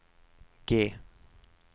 G